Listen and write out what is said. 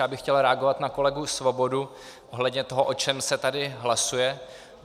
Já bych chtěl reagovat na kolegu Svobodu ohledně toho, o čem se tady hlasuje.